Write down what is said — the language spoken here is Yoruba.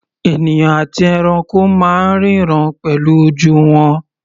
Ènìyàn àti ẹranko máa ń ríran pẹ̀lú ojú wọn.